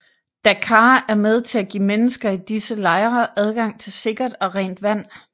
DACAAR er med til at give mennesker i disse lejre adgang til sikkert og rent vand